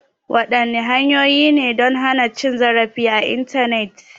Wadanne hanyoyi ne don hana cin zarafi a Intanet?